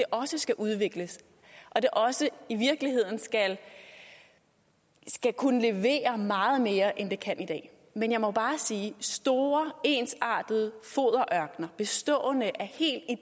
også skal udvikles og det også i virkeligheden skal skal kunne levere meget mere end det kan i dag men jeg må bare sige store ensartede foderørkener bestående af